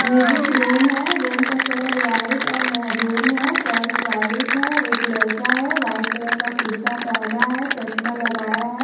Music room है room का colour white और मैरून है फर्श वाइट है एक लड़का है वाइट कलर का कुर्ता पहना है चश्मा लगाया है।